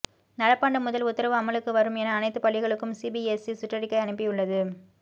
நடப்பாண்டு முதல் உத்தரவு அமலுக்கு வரும் என அனைத்து பள்ளிகளுக்கும் சிபிஎஸ்இ சுற்றிக்கை அனுப்பியுள்ளது